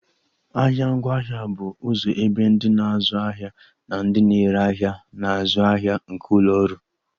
Ahịa ngwaahịa bụ ụzọ ebe ndị na-azụ ahịa na ndị na-ere ahịa na-azụ ahịa nke ụlọ ọrụ